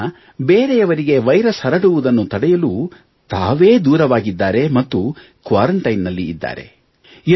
ಈ ಜನರು ಬೇರೆಯವರಿಗೆ ವೈರಸ್ ಹರಡುವುದನ್ನು ತಡೆಯಲು ತಾವೇ ದೂರವಾಗಿದ್ದಾರೆ ಮತ್ತು ಕ್ವಾರಂಟೈನ್ ನಲ್ಲಿ ಇದ್ದಾರೆ